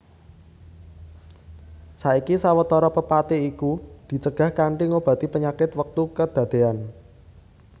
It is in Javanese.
Saiki sawetara pepati iku dicegah kanthi ngobati panyakit wektu kedadéyan